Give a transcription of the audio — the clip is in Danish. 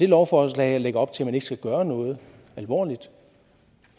lovforslag lægger op til at man ikke skal gøre noget alvorligt